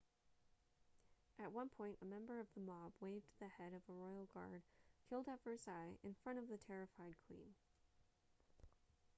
at one point a member of the mob waved the head of a royal guard killed at versailles in front of the terrified queen